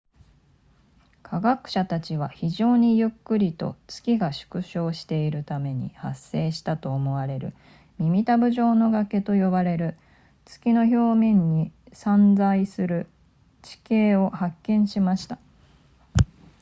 科学者たちは非常にゆっくりと月が縮小しているために発生したと思われる耳たぶ状の崖と呼ばれる月の表面に散在する地形を発見しました